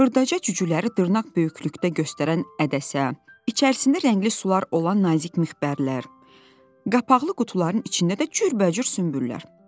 Xırdaca cücüləri dırnaq böyüklükdə göstərən ədəsi, içərisində rəngli sular olan nazik mixbərlər, qapaqlı qutuların içində də cürbəcür sümbüllər.